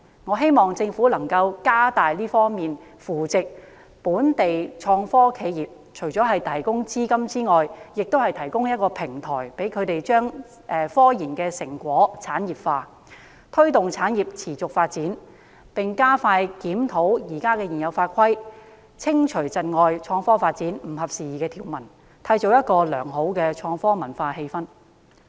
我希望政府能加大力度扶植本地創科企業，除了提供資金之外，亦提供平台，讓它們把科研成果產業化，推動產業持續發展，並加快檢討現有法規，修訂或刪去窒礙創科發展、不合時宜的條文，以締造良好的創科文化氛圍。